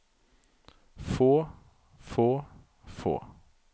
få få få